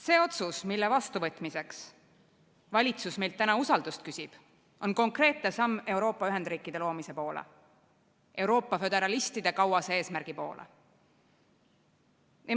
See otsus, mille vastuvõtmiseks valitsus meilt täna usaldust küsib, on konkreetne samm Euroopa Ühendriikide loomise poole, Euroopa föderalistide kauase eesmärgi poole.